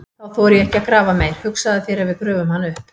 Þá þori ég ekki að grafa meir, hugsaðu þér ef við gröfum hann upp!